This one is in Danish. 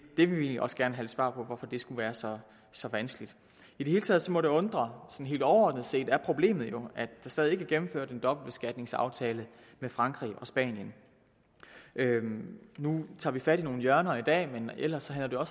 vil egentlig også gerne have svar på hvorfor det skulle være så så vanskeligt i det hele taget må det undre for helt overordnet set er problemet jo at der stadig ikke er gennemført en dobbeltbeskatningsaftale med frankrig og spanien nu tager vi fat i nogle hjørner i dag men ellers handler